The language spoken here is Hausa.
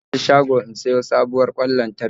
Zan je shago in siya sabuwar kwan lantarki